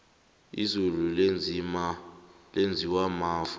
izulu lenziwa mafu